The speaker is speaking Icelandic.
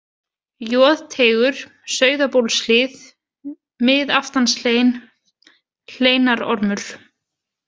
Joðteigur, Sauðabólshlíð, Miðaftanshlein, Hleinarormur